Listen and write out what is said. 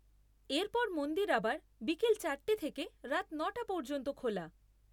এর পর মন্দির আবার বিকেল চারটে থেকে রাত নটা পর্যন্ত খোলা।